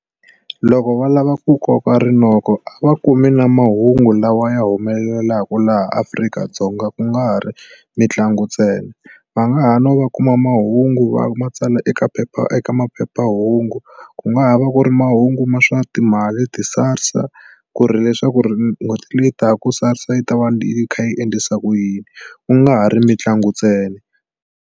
Loko va lava ku koka rinoko a va kumi na mahungu lawa ya humelelaka laha Afrika-Dzonga ku nga ri mitlangu ntsena va nga ha no va kuma mahungu va ma tsala eka phephahungu eka maphephahungu ku nga ha va ku ri mahungu ma swa timali ti-SARS ku ri leswaku ri n'hweti leyi taka ku Sars yi ta va yi kha yi endlisa ku yini ku nga ha ri mitlangu ntsena.